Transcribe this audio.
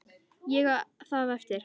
Ég á það eftir.